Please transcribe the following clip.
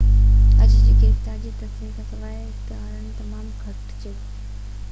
اڄ جي گرفتاري جي تصديق کان سواءِ اختيارين تمام گهٽ چيو